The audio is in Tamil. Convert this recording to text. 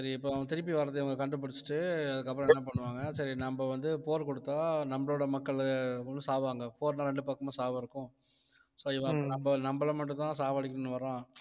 சரி இப்ப அவன் திருப்பி வர்றதை இவங்க கண்டுபிடிச்சிட்டு அதுக்கப்புறம் என்ன பண்ணுவாங்க சரி நம்ம வந்து போர் கொடுத்தா நம்மளோட மக்கள் வந்து சாவாங்க போர்னா ரெண்டு பக்கமும் சாவு இருக்கும் so இவன் நம்ப~ நம்பளை மட்டும்தான் சாவடிக்கணும்னு வர்றான்